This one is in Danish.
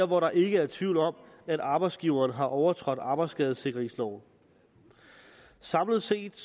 hvor der ikke er tvivl om at arbejdsgiveren har overtrådt arbejdsskadesikringsloven samlet set